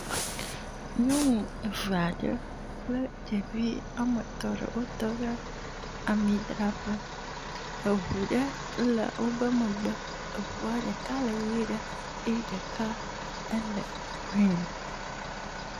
Nyɔnu evea ɖe kple ɖevi woame etɔ̃ ɖe wotɔ ɖe amidraƒe. Eŋu ɖe le woƒe megbe. Eŋua ɖeka le ʋee ɖe eye ɖeka ele green.